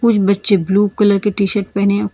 ये बच्चे blue colour के टी शर्ट पहने है।